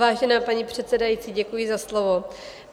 Vážená paní předsedající, děkuji za slovo.